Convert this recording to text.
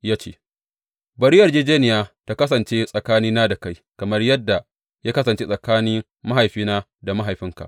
Ya ce, Bari yarjejjeniya ta kasance tsakani na da kai kamar yadda ya kasance tsakanin mahaifina da mahaifinka.